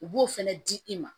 U b'o fɛnɛ di i ma